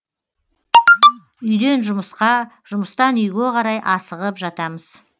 үйден жұмысқа жұмыстан үйге қарай асығып жатамыз